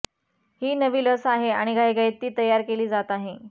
ही नवी लस आहे आणि घाईघाईत ती तयार केली जात आहे